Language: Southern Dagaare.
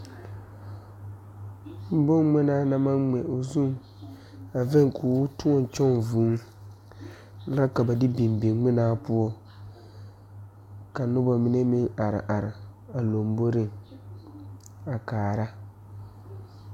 Bon ngmenaa na maŋ ngmɛ o zuŋ a veŋ koo tõɔ kyɔŋ vūū la ka ba de biŋ biŋ ngmenaa poɔ ka nobɔ mine meŋ are are a lomboreŋ a kaara.